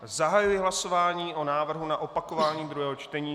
Zahajuji hlasování o návrhu na opakování druhého čtení.